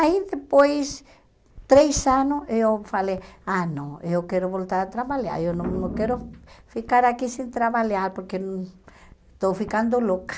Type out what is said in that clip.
Aí, depois, três anos, eu falei, ah, não, eu quero voltar a trabalhar, eu não não quero ficar aqui sem trabalhar, porque estou ficando louca.